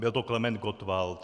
Byl to Klement Gottwald.